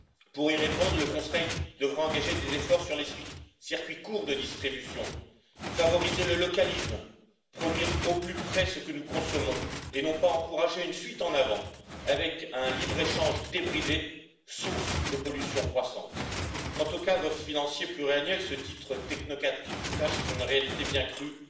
Pour y répondre, le Conseil devra engager des efforts sur les circuits courts de distribution, favoriser le localisme, produire au plus près ce que nous consommons et non pas encourager une fuite en avant, avec un libre échange débridé, source de pollution croissante. Quant au cadre financier pluriannuel, ce titre technocratique cache une réalité bien crue